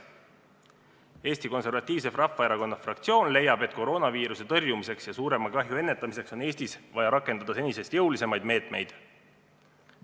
Eesti Konservatiivse Rahvaerakonna fraktsioon leiab, et koroonaviiruse tõrjumiseks ja suurema kahju ennetamiseks on Eestis vaja rakendada senisest jõulisemaid meetmeid.